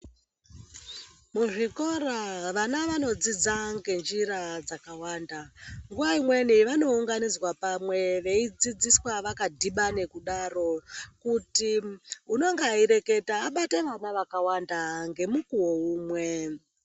Muzvikora vana vanodzidza ngenjira dzakawanda. Nguva imweni vanounganidzwa pamwe veidzidziswa vakadhibane kudaro kuti unenga eireketa abate vana vakawanda ngemukuwo umwe.